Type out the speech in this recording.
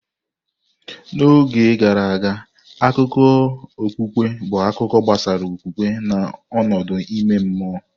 N'oge gara aga, akụkọ okpukpe bụ akụkọ gbasara okwukwe na ọnọdụ ime mmụọ.